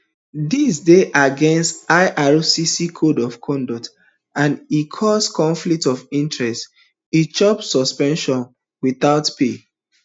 dis dey against ircc code of conduct and e cause conflict of interest e chop suspension witout pay